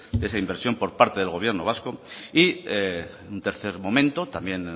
de esa inversión por parte del gobierno vasco y un tercer momento también